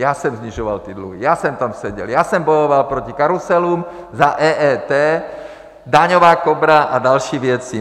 Já jsem snižoval ty dluhy, já jsem tam seděl, já jsem bojoval proti karuselům, za EET, Daňová kobra a další věci.